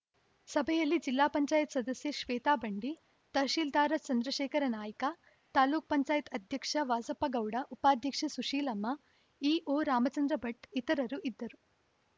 ಸಭೆಯಲ್ಲಿ ಜಿಲ್ಲಾ ಪಂಚಾಯತ್ ಸದಸ್ಯೆ ಶ್ವೇತಾ ಬಂಡಿ ತಹಸೀಲ್ದಾರ್‌ ಚಂದ್ರಶೇಖರ ನಾಯ್ಕ ತಾಲ್ಲೂಕು ಪಂಚಾಯತ್ ಅಧ್ಯಕ್ಷ ವಾಸಪ್ಪ ಗೌಡ ಉಪಾಧ್ಯಕ್ಷೆ ಸುಶೀಲಮ್ಮ ಇಒ ರಾಮಚಂದ್ರ ಭಟ್‌ ಇತರರು ಇದ್ದರು